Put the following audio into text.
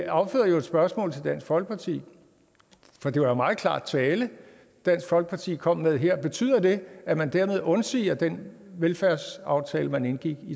afføder jo et spørgsmål til dansk folkeparti for det var meget klar tale dansk folkeparti kom med her betyder det at man dermed undsiger den velfærdsaftale man indgik